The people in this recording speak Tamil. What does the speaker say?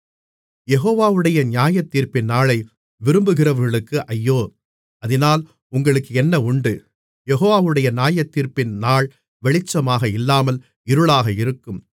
யெகோவாவுடைய நியாயத்தீர்ப்பின் நாளை விரும்புகிறவர்களுக்கு ஐயோ அதினால் உங்களுக்கு என்ன உண்டு யெகோவாவுடைய நியாயத்தீர்ப்பின் நாள் வெளிச்சமாக இல்லாமல் இருளாக இருக்கும்